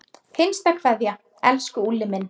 HINSTA KVEÐJA Elsku Úlli minn.